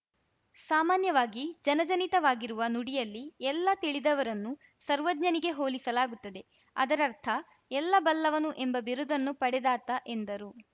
ಸಾಮಾನ್ಯವಾಗಿ ಜನಜನಿತವಾಗಿರುವ ನುಡಿಯಲ್ಲಿ ಎಲ್ಲ ತಿಳಿದವರನ್ನು ಸರ್ವಜ್ಞನಿಗೆ ಹೋಲಿಸಲಾಗುತ್ತದೆ ಅದರರ್ಥ ಎಲ್ಲ ಬಲ್ಲವನು ಎಂಬ ಬಿರುದನ್ನು ಪಡೆದಾತ ಎಂದರು